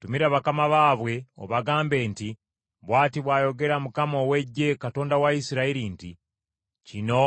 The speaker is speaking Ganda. Tumira bakama baabwe obagambe nti, ‘Bw’ati bw’ayogera Mukama ow’Eggye, Katonda wa Isirayiri nti, “Kino